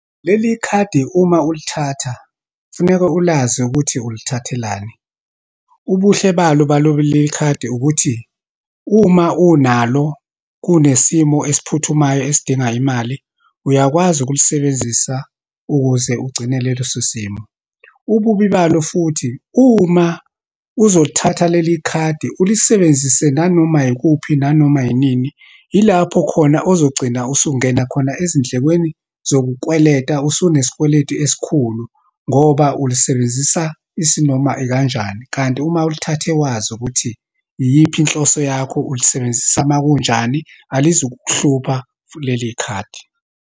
Leli khadi, uma ulithatha, kufuneka ulazi ukuthi ulithathelani. Ubuhle balo balolikhadi ukuthi, uma unalo, kunesimo esiphuthumayo esidinga imali, uyakwazi ukulisebenzisa ukuze ugcinele leso simo. Ububi balo futhi, uma uzolithatha leli khadi, ulisebenzise nanoma yikuphi, nanoma inini, ilapho khona ozogcina usungena khona ezindlekweni zokukweleta, usunesikweleti esikhulu, ngoba ulisebenzisa isinoma ikanjani. Kanti uma ulithathe wazi ukuthi iyiphi inhloso yakho, ulisebenzisa uma kunjani, alizukukuhlupha futhi leli khadi.